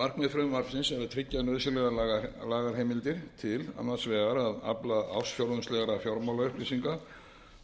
markmið frumvarpsins er að tryggja nauðsynlegar lagaheimildir til annars vegar að afla ársfjórðungslegra fjármálaupplýsinga